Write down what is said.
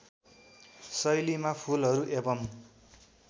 शैलीमा फुलहरू एवम्